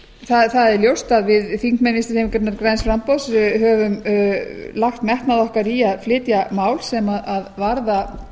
námsmanna það er ljóst að við þingmenn vinstri hreyfingarinnar græns framboðs höfum lagt metnað okkar í að flytja mál sem varða